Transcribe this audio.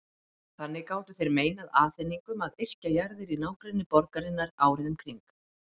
Þannig gátu þeir meinað Aþeningum að yrkja jarðir í nágrenni borgarinnar árið um kring.